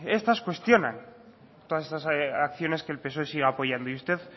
estas cuestionan todas estas acciones que el psoe sigue apoyando y usted